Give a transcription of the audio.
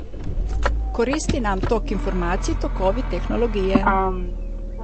Koristi nam tok informacij, tokovi tehnologije.